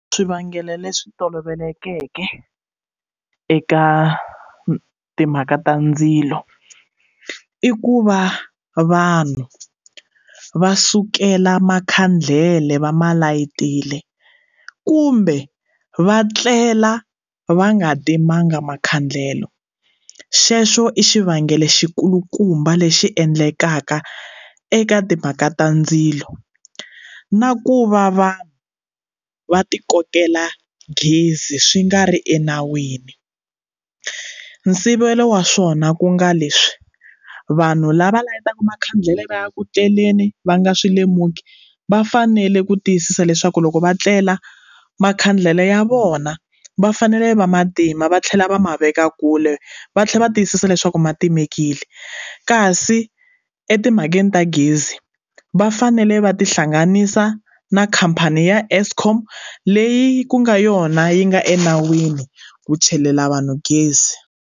Swivangelo leswi tolovelekeke eka timhaka ta ndzilo i ku va vanhu va sukela makhandlele va ma layitile kumbe va tlela va nga timanga makhandlela xexo i xivangelo xi kulukumba lexi endlekaka eka timhaka ta ndzilo na ku va va va ti kokela gezi swi nga ri enawini nsivelo wa swona ku nga leswi vanhu lava layitaka makhandlele va ya ku tleleni va nga swilemuki va fanele ku tiyisisa leswaku loko va tlela makhandlele ya vona va fanele va matima va tlhela va ma veka kule va tlhela va tiyisisa leswaku ma timekile kasi etimhakeni ta gezi va fanele va tihlanganisa na khampani ya eskom leyi ku nga yona yi nga enawini ku chelela vanhu gezi.